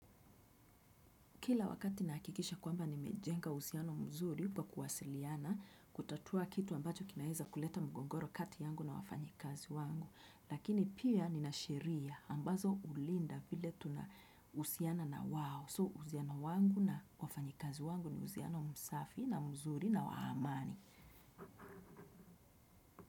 Kila wakati nahakikisha kwamba nimejenga usiano mzuri, pa kuwasiliana, kutatua kitu ambacho kinaweza kuleta mgongoro kati yangu na wafanyikazi wangu. Lakini pia nina sheria, ambazo ulinda vile tunausiana na wao. "So" usiano wangu na wafanyikazi wangu ni usiano msafi na mzuri na wa amani.